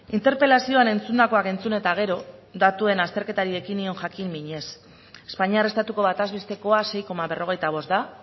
interpelazioan entzundakoak entzun eta gero datuen azterketari ekin nion jakin minez espainiar estatuko bataz bestekoa sei koma berrogeita bost da